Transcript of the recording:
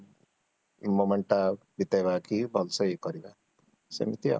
ଏଇ momentଟା ବିତେଇବା କି ଭଲସେ ୟେ କରିବା, ସେମିତି ଆଉ